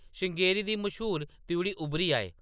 श्रृंगेरी दी मश्हूर त्रिउढ़ी उब्भरी आई ।